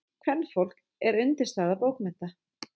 Kvenfólk er undirstaða bókmennta.